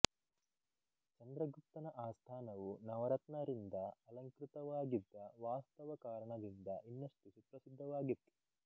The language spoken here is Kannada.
ಚಂದ್ರಗುಪ್ತನ ಆಸ್ಥಾನವು ನವರತ್ನರಿಂದ ಅಲಂಕೃತವಾಗಿದ್ದ ವಾಸ್ತವ ಕಾರಣದಿಂದ ಇನ್ನಷ್ಟು ಸುಪ್ರಸಿದ್ಧವಾಗಿತ್ತು